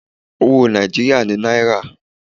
Owó Nàìjíríà ni náírà.